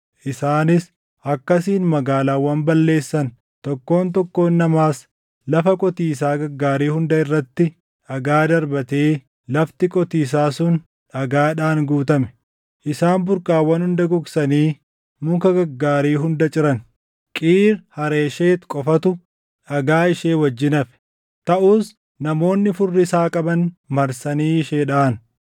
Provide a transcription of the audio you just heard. Isaanis akkasiin magaalaawwan balleessan; tokkoon tokkoon namaas lafa qotiisaa gaggaarii hunda irratti dhagaa darbatee lafti qotiisaa sun dhagaadhaan guutame. Isaan burqaawwan hunda gogsanii muka gaggaarii hunda ciran. Qiir Hareesheti qofatu dhagaa ishee wajjin hafe; taʼus namoonni furrisaa qaban marsanii ishee dhaʼan.